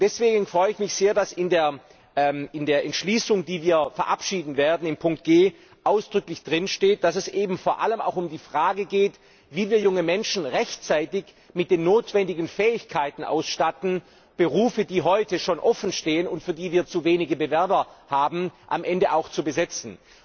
Deswegen freue ich mich sehr, dass in der Entschließung, die wir verabschieden werden, unter Buchstabe G ausdrücklich steht, dass es vor allem auch um die Frage geht, wie wir junge Menschen rechtzeitig mit den notwendigen Fähigkeiten ausstatten, Berufe, die heute schon offenstehen und für die wir zu wenige Bewerber haben, am Ende auch zu besetzen.